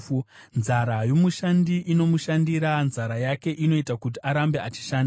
Nzara yomushandi inomushandira; nzara yake inoita kuti arambe achishanda.